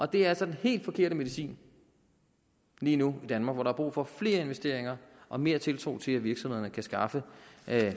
det er altså den helt forkerte medicin lige nu i danmark hvor der er brug for flere investeringer og mere tiltro til at virksomhederne kan skaffe